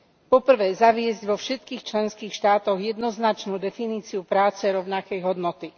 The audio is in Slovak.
Po prvé, zaviesť vo všetkých členských štátoch jednoznačnú definíciu práce rovnakej hodnoty.